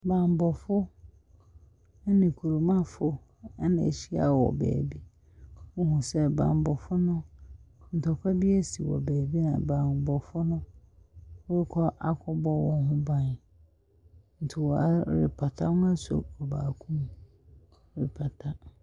Bammɔfo ne kurommafo na ahyia wɔ baabi. Wohu sɛ bammɔfo no ntkwa bi asi wɔ baabi a bammɔfo no rekɔ akɔbɔ wɔn ho ban. Nti, wɔrepata. Wɔasɔ baako mu, wɔrepata.